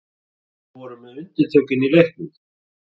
Við vorum með undirtökin í leiknum